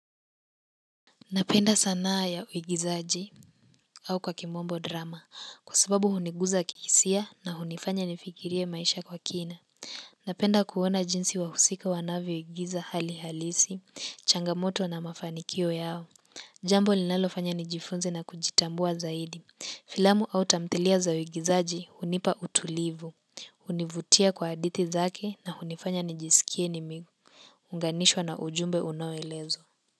Napenda sanaa ya uigizaji au kwa kimombo drama kwa sababu huniguza kihisia na hunifanya nifikirie maisha kwa kina. Napenda kuona jinsi wahusika wanavyoigiza hali halisi, changamoto na mafanikio yao. Jambo linalofanya nijifunze na kujitambua zaidi. Filamu au tamthilia za uigizaji hunipa utulivu. Hunivutia kwa hadithi zake na hunifanya nijiskie nimeunganishwa na ujumbe unaoelezwa.